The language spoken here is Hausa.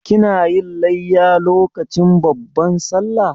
Kina yin layya lokacin babban Sallah?